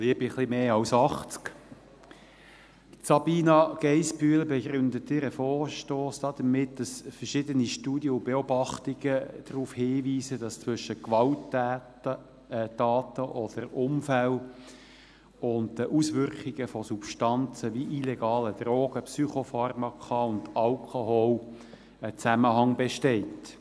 Liebe etwas mehr als 80 Leute, Sabina Geissbühler begründet ihren Vorstoss damit, dass verschiedene Studien und Beobachtungen darauf hinweisen, dass zwischen Gewalttaten oder Unfällen und den Auswirkungen von Substanzen wie illegalen Drogen, Psychopharmaka und Alkohol ein Zusammenhang besteht.